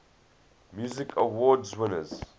music awards winners